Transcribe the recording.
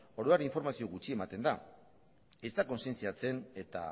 orduan informazio gutxi ematen da ez da kontzientziatzen eta